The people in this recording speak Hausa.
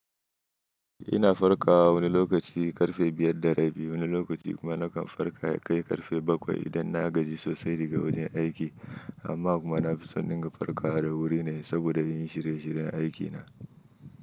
Ina farkawa wani lokaci karfe 5:30. Wani lokaci kuma nakan farka kai karfe 7 idan na gaji sosai daga wajen aiki. Amma kuma na fi son in farka wa da wuri ne saboda in yi shirye shiryen aikina.